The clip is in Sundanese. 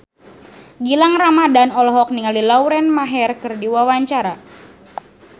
Gilang Ramadan olohok ningali Lauren Maher keur diwawancara